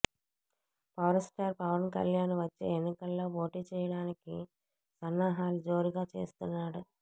power star Pawan Kalyan వచ్చే ఎన్నికల్లో పోటీ చేయడానికి సన్నాహాలు జోరుగా చేస్తున్నాడు